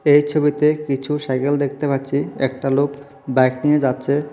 এই ছবিতে কিছু সাইকেল দেখতে পাচ্ছি একটা লোক বাইক নিয়ে যাচ্ছে।